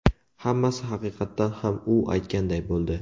Hammasi haqiqatan ham u aytganday bo‘ldi.